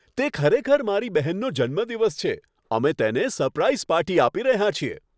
તે ખરેખર મારી બહેનનો જન્મદિવસ છે. અમે તેને સરપ્રાઈઝ પાર્ટી આપી રહ્યા છીએ.